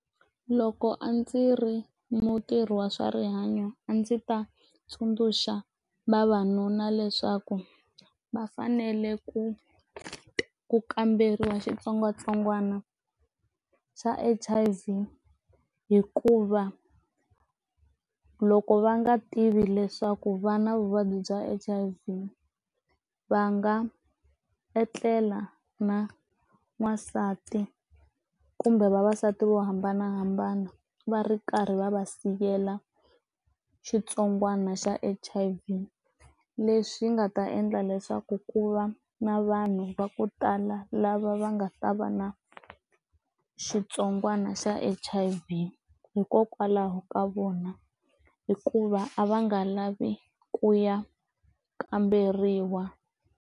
Loko a ndzi ri mutirhi wa swa rihanyo a ndzi ta tsundzuxa vavanuna leswaku va fanele ku ku kamberiwa xitsongwatsongwana xa H_I_V hikuva loko va nga tivi leswaku vana vuvabyi bya H_I_V va nga etlela na n'wasati kumbe vavasati vo hambanahambana va ri karhi va va siyela xitsongwana xa H_I_V leswi nga ta endla leswaku ku va na vanhu va ku tala lava va nga ta va na xitsongwana xa H_I_V hikokwalaho ka vona hikuva a va nga lavi ku ya kamberiwa.